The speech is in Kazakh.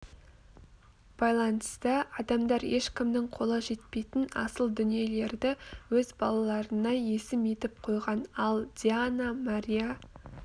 байланысты адамдар ешкімнің қолы жетпейтін асыл дүниелерді өз балаларына есім етіп қойған ал диана мария